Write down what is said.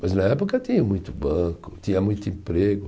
Mas na época tinha muito banco, tinha muito emprego.